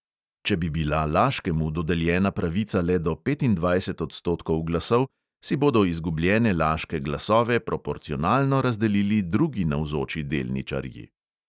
Če bi bila laškemu dodeljena pravica le do petindvajset odstotkov glasov, si bodo izgubljene laške glasove proporcionalno razdelili drugi navzoči delničarji.